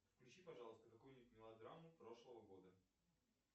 включи пожалуйста какую нибудь мелодраму прошлого года